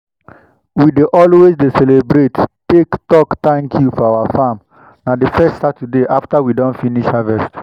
we dey always dey celebrate take talk 'thank you' for our farm. na the first saturday after we don finish harvest.